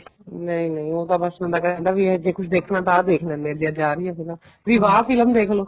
ਨਹੀਂ ਨਹੀਂ ਉਹ ਤਾਂ ਬੱਸ ਬੰਦਾ ਕਹਿ ਦਿੰਦਾ ਵੀ ਜੇ ਕੁੱਛ ਦੇਖਣਾ ਤਾਂ ਆਹ ਦੇਖ ਲੈਂਦੇ ਹਾਂ ਕੁੱਛ ਆ ਰਹੀਆਂ ਫ਼ਿਲਮਾ ਵਿਵਾਹ ਫਿਲਮ ਦੇਖਲੋ